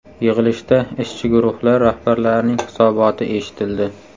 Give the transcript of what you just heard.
Yig‘ilishda ishchi guruhlar rahbarlarining hisoboti eshitildi.